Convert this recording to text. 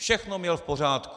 Všechno měl v pořádku.